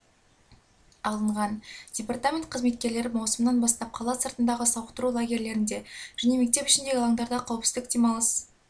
алынған департамент қызметкерлері маусымнан бастап қала сыртындағы сауықтыру лагерлерінде және мектеп ішіндегі алаңдарда қауіпсіз демалыс